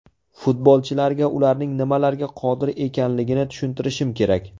Futbolchilarga ularning nimalarga qodir ekanligini tushuntirishim kerak.